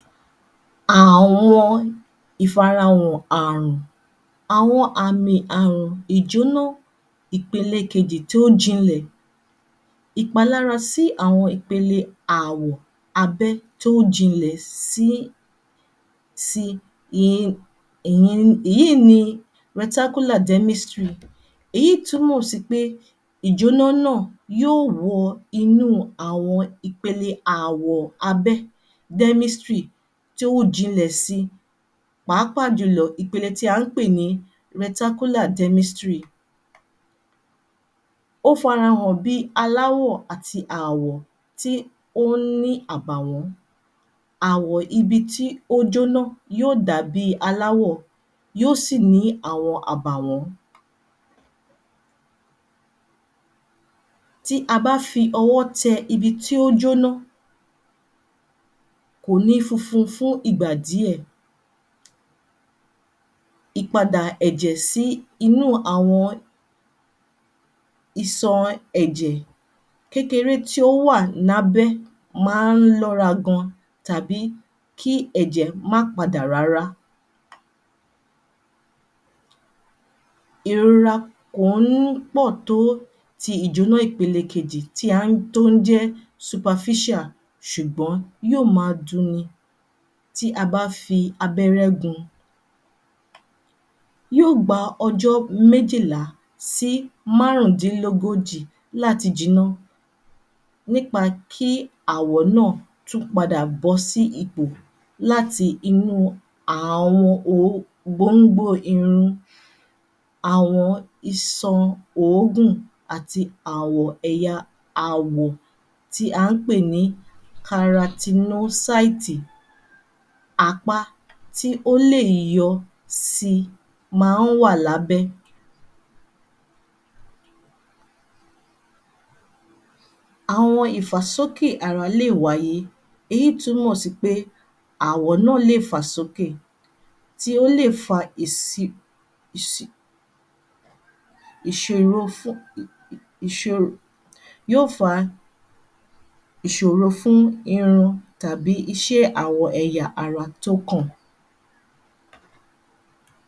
Àwọn ìfarahàn àrùn Àwọn àmì àrùn ìjónọ́ ìpele kejì tó jinlẹ̀ ìpalára sí àwọn ìpele àwọ̀ abẹ́ tó jinlẹ̀ sí si yìí ni demistry èyí túmọ̀ sí pé ìjónọ́ náà yóò wọ inú àwọn ìpele àwọ̀ abẹ́ Demistry tí ó jinlẹ̀ si Pàápàá jùlọ, ipele tí à ń pè ní Rectacular demistry ó farahàn bí i aláwọ̀ àti àwọ̀ tí ó ń ní àbàwọ́n Àwọ̀ ibi tí ó jóná, yóò dàbi aláwọ̀ yó sì ní àwọn àbàwọ́n tí a bá fi ọwọ́ tẹ ibi tí ó jóná, kò ní funfun fún ìgbà díẹ̀ ìpadà ẹ̀jẹ̀ sí inú àwọn isọrin ẹ̀jẹ̀ kékeré tí ó ń wà ní abẹ́ máa ń lọ́ra gan tàbí kí ẹ̀jẹ̀ má padà rárá ìrora kò ń pọ̀ tó ti ìjóná ìpele kejì tí à ń, tó ń jẹ́ superficial ṣùgbọ́n yóò ma dun ni tí a bá fi abẹ́rẹ́ gun yóò gba ọjọ́ méjìlá sí márùndínlógójì láti jiná nípa kí àwọ̀ náà tún padà bọ́ sí ipò láti inú um àwọn ogbóngbó àwọn isan òógùn àti àwọ̀ ẹ̀ya àwọ̀ tí à ń pè ní karatinósáítì apá tí ó lè yọ si ma ń wà lábẹ́ Àwọn ìfàsókè ara lè wáyé èyí túmọ̀ sí pé àwọ̀ náà lè fà sókè tí o lè fa ìsi ìṣòro fún yóò fa ìṣòro fún irun tàbí ìṣe àwọn ẹ̀yà ara tókàn.